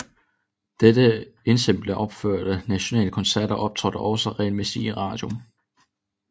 Dette ensemble opførte nationale koncerter og optrådte også regelmæssigt i radioen